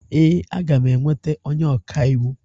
Ee, aga m enweta onye ọkaiwu.